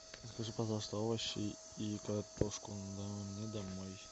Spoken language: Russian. закажи пожалуйста овощи и картошку мне домой